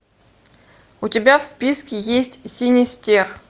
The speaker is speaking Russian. у тебя в списке есть синистер